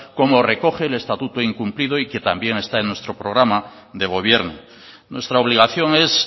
como recoge el estatuto incumplido y que también está en nuestro programa de gobierno nuestra obligación es